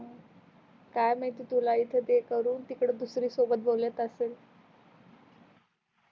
काय महिती तुला इथ ते करून तिकड दुसरी सोबत बोलत असेल